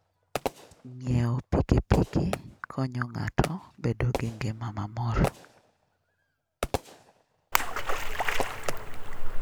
Ng'iewo pikipiki konyo ng'ato bedo gi ngima mamor.